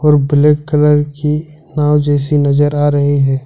और black colour की नाव जैसी नजर आ रही है।